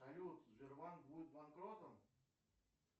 салют сбербанк будет банкротом